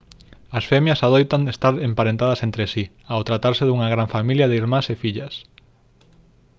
as femias adoitan estar emparentadas entre si ao tratarse dunha gran familia de irmás e fillas